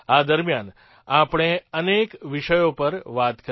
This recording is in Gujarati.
આ દરમિયાન આપણે અનેક વિષયો પર વાત કરી